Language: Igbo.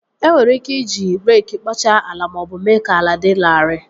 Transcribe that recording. E nwere ike iji reekị kpochaa ala maọbụ mee ka ala dị larịị